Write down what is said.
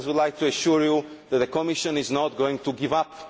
I would like to assure you that the Commission is not going to give